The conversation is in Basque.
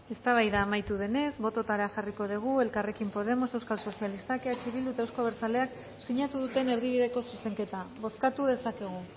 eztabaida amaitu denez bototara jarriko dugu elkarrekin podemos euskal sozialistak eh bildu eta euzko abertzaleak sinatu duten erdibideko zuzenketa bozkatu dezakegu